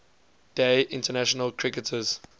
day international cricketers